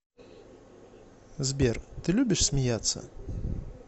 сбер ты любишь смеяться